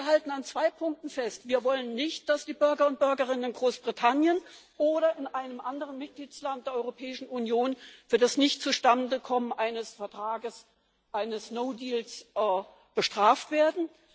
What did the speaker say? Wir halten an zwei Punkten fest Wir wollen nicht, dass die Bürger und Bürgerinnen in Großbritannien oder in einem anderen Mitgliedsland der Europäischen Union für das Nichtzustandekommens eines Vertrages, für einen no deal bestraft werden.